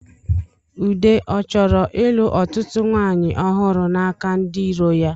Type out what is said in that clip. Ude ọ chọrọ ịlụ ọtụtụ nwanyị ọhụrụ n'aka ndi iro ya?